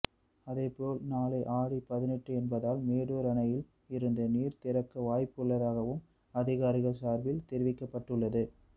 அதேபோல் நாளை ஆடி பதினெட்டு என்பதால் மேட்டூர் அணையில் இருந்து நீர் திறக்க வாய்ப்பு உள்ளதாகவும் அதிகாரிகள் சார்பில் தெரிவிக்கப்பட்டுள்ளது